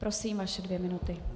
Prosím, vaše dvě minuty.